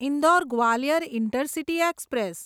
Indore Gwalior intercity express